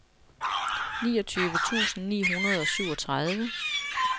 niogtyve tusind ni hundrede og syvogtredive